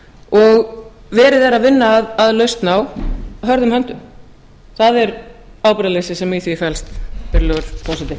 og verið að vinna að lausn á hörðum höndum það er ábyrgðarleysi sem í því felst virðulegur forseti